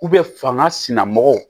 fanga sina mɔgɔ